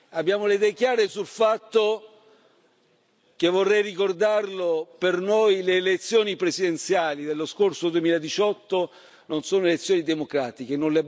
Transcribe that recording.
Abbiamo le idee chiare sul fatto che, vorrei ricordarlo, per noi le elezioni presidenziali dello scorso 2018 non sono elezioni democratiche.